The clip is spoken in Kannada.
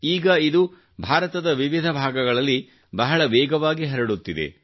ಈಗ ಇದು ಭಾರತದ ವಿವಿಧ ಭಾಗಗಳಲ್ಲಿ ಬಹಳ ವೇಗವಾಗಿ ಹರಡುತ್ತಿದೆ